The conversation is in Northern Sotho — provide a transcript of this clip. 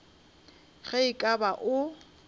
ge e ka ba o